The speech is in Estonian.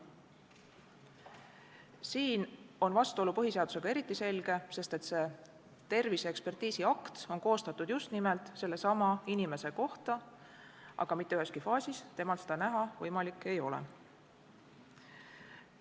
Siin on vastuolu põhiseadusega eriti selge, sest terviseekspertiisi akt on koostatud just nimelt sellesama inimese kohta, aga mitte üheski faasis ei ole temal endal võimalik seda näha.